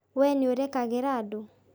We nĩũrekagĩra andũ?